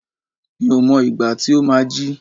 Mi ò mọ ìgbà tí ó má á jí.